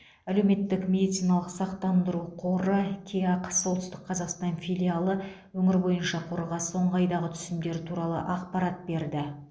әлеуметтік медициналық сақтандыру қоры кеақ солтүстік қазақстан филиалы өңір бойынша қорға соңғы айдағы түсімдер туралы ақпарат берді